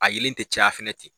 A yelen tɛ caya fɛnɛ ten.